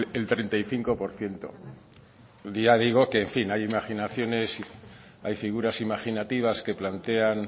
el treinta y cinco por ciento ya digo que en fin hay imaginaciones y hay figuras imaginativas que plantean